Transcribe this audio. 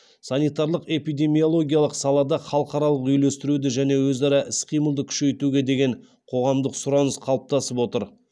санитарлық эпидемиологиялық салада халықаралық үйлестіруді және өзара іс қимылды күшейтуге деген қоғамдық сұраныс қалыптасып отыр